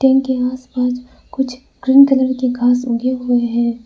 उनके आसपास कुछ ग्रीन कलर के घास उगे हुए हैं।